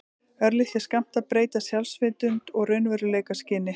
Örlitlir skammtar breyta sjálfsvitund og raunveruleikaskyni.